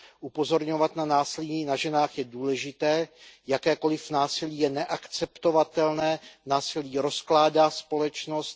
Upozorňovat na násilí na ženách je důležité, jakékoliv násilí je neakceptovatelné, násilí rozkládá společnost.